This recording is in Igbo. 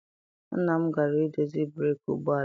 Nna m gara I dozi breeki ụgbọala ya.